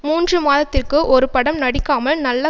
மூன்று மாதத்திற்கு ஒரு படம் நடிக்காமல் நல்ல